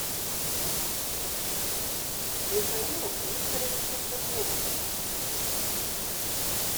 михаилом викторовичем козловым